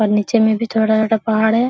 और नीचे में भी थोड़ा छोटा पहाड़ है।